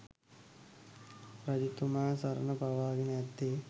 රජතුමා සරණ පාවාගෙන ඇත්තේ